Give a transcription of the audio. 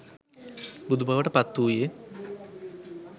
බුදුබවට පත්වූයේ